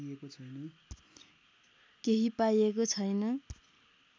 केही पाइएको छैन